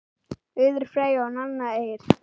Auður Freyja og Nanna Eir.